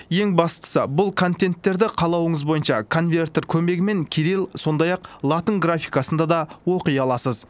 ең бастысы бұл контенттерді қалауыңыз бойынша конвертер көмегімен кирилл сондай ақ латын графикасында да оқи аласыз